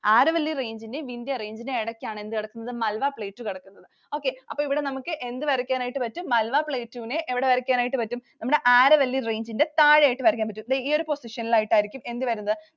Aravalli Range ൻറെയും Vindya Range ൻറെയും ഇടക്കാണ് എന്ത് കിടക്കുന്നത് Malwa Plateau കിടക്കുന്നത്. Okay അപ്പൊ ഇവിടെ നമുക്ക് എന്ത് വരയ്ക്കാൻ ആയിട്ട് പറ്റും? Malwa Plateau നെ എവിടെ വരയ്ക്കാൻ ആയിട്ട് പറ്റും? നമ്മുടെ Aravalli Range ൻറെ താഴെയായിട്ടു വരയ്ക്കാൻ പറ്റും. ദേ ഈ ഒരു position ലായിട്ടു ആയിരിക്കും എന്ത് വരുന്നത്?